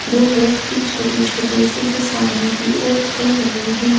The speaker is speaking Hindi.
दो व्यक्ति छोटे-छोटे से जो सामने की और खड़े हुए हैं।